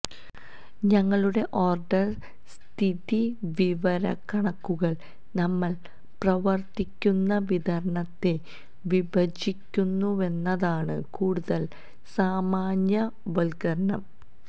ഞങ്ങളുടെ ഓർഡർ സ്ഥിതിവിവരക്കണക്കുകൾ നമ്മൾ പ്രവർത്തിക്കുന്ന വിതരണത്തെ വിഭജിക്കുന്നുവെന്നതാണ് കൂടുതൽ സാമാന്യവൽക്കരണം